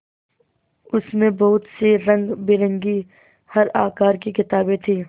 उसमें बहुत सी रंगबिरंगी हर आकार की किताबें थीं